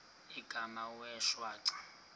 igama wee shwaca